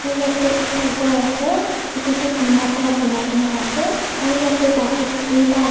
jaate gor ekta ase etu tu tina para bonai kina ase aru jaate baket duita ase.